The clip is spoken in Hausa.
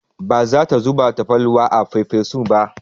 Ba za ta zuba tafarnuwa a farfesun ba.